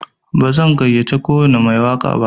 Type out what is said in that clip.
Bazan gayyace kowwani mai waƙa ba.